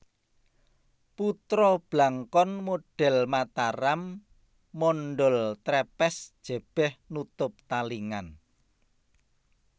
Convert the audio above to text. Putra Blangkon modhel Mataram mondhol trepes jebeh nutup talingan